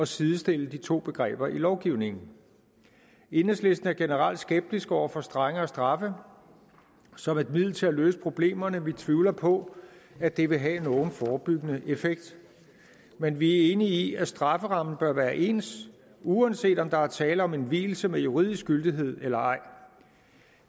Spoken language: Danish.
sidestille de to begreber i lovgivningen enhedslisten er generelt skeptisk over for strengere straffe som et middel til at løse problemerne vi tvivler på at det vil have en forebyggende effekt men vi er enige i at strafferammen bør være ens uanset om der er tale om en vielse med juridisk gyldighed eller ej